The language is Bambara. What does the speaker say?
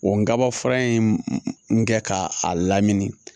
O n kaba fura in kɛ ka a lamini